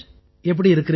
எப்படி இருக்கிறீர்கள்